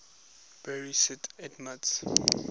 bury st edmunds